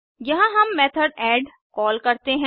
यहाँ हम method add call करते हैं